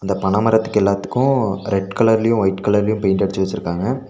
பனமரத்துக்கு எல்லாத்துக்கோ ரெட் கலர்லயு வொய்ட் கலர்லையு பெயிண்ட் அடிச்சு வெச்சிருக்காங்க.